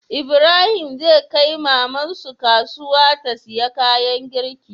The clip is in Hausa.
Ibrahim zai kai maman su kasuya ta siya kayan girki